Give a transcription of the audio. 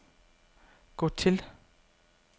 gå til